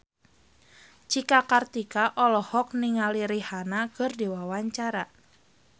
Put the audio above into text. Cika Kartika olohok ningali Rihanna keur diwawancara